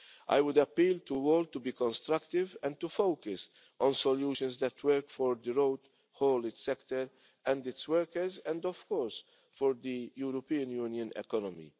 Package. I would appeal to all to be constructive and to focus on solutions that work for the road haulage sector and its workers, and of course, for the European Union